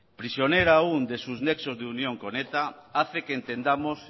prisionera aún de sus nexos de unión con eta hace que entendamos